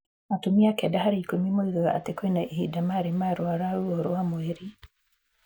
Atumia 9 harĩ 10 nĩ moigaga atĩ kwĩna ihinda marĩ marũara ruo rwa mweri.